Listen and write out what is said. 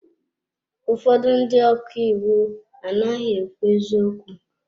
Ụfọdụ ndị ọka iwu anaghị ekwu eziokwu.